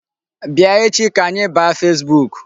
Bịa echi ka anyị baa Facebook.